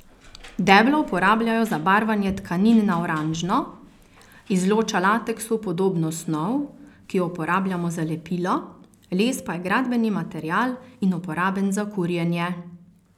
Deblo uporabljajo za barvanje tkanin na oranžno, izloča lateksu podobno snov, ki jo uporabljamo za lepilo, les pa je gradbeni material in uporaben za kurjenje.